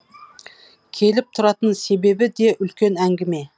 келіп тұратын себебі де үлкен әңгіме